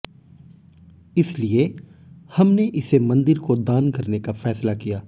इसलिए हमने इसे मंदिर को दान करने का फैसला किया